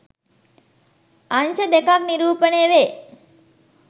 අංශ දෙකක් නිරූපණය වේ